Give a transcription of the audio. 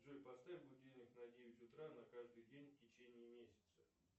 джой поставь будильник на девять утра на каждый день в течении месяца